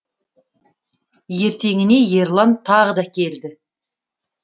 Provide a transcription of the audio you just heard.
ертеңіне ерлан тағы да келді